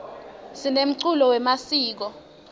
sinemculo wemasiko